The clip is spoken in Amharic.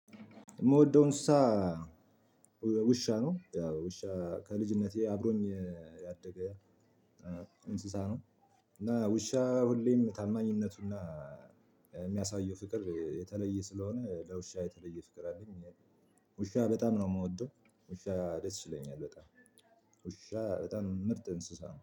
ምወደውን እንስሳ ውሻ ነው ያው ውሻ ከልጅነቴ አብሮኝ ያደገ እንስሳ ነው። እና ውሻ ሁሌም ታማኝነቱና የሚያሳየው ፍቅር የተለየ ስለሆነ ለውሻ የተለየ ፍቅር አለኝ። ውሻ በጣም ነው ምወደው ውሻ ደስ ይለኛል በጣም። ውሻ በጣም ምርጥ እንስሳ ነው